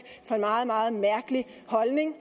for en meget meget mærkelig holdning